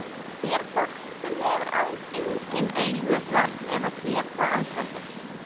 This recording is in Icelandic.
Sér fólk sem hefur alls engin augu svart eða sér það alls ekkert?